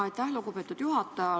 Aitäh, lugupeetud juhataja!